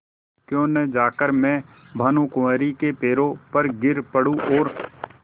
क्यों न जाकर मैं भानुकुँवरि के पैरों पर गिर पड़ूँ और